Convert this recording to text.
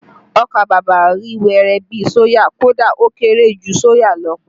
Ọkà bàbà rí wẹ́rẹ́ bi soya, kódà ó kéré jù soya lọ